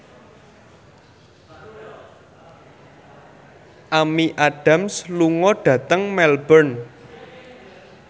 Amy Adams lunga dhateng Melbourne